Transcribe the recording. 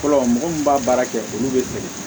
Fɔlɔ mɔgɔ min b'a baara kɛ olu de fɛ